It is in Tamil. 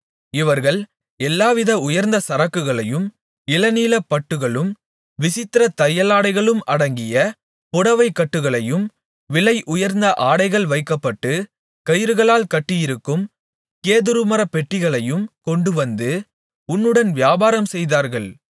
இவர்கள் எல்லாவித உயர்ந்த சரக்குகளையும் இளநீலப் பட்டுகளும் விசித்திரத்தையலாடைகளும் அடங்கிய புடவைக்கட்டுகளையும் விலை உயர்ந்த ஆடைகள் வைக்கப்பட்டு கயிறுகளால் கட்டியிருக்கும் கேதுருமரப்பெட்டிகளையும் கொண்டுவந்து உன்னுடன் வியாபாரம்செய்தார்கள்